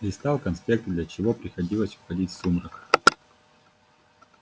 листал конспекты для чего приходилось уходить в сумрак